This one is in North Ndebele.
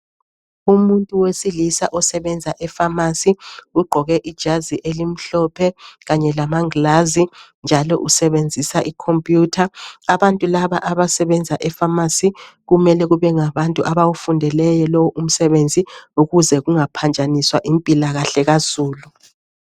Umuntu wesilisa osebenza epharmacy ugqoke ijazi elimhlophe kanye lamangilazi njalo usebenzisa icomputer .Abantu laba abasebenza epharmacy kumele kube ngabantu abawufundeleyo lo umsebenzi ukuze kungaphanjaniswa impilakahle kazulu.